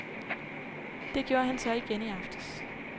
Det gjorde han så igen i aftes.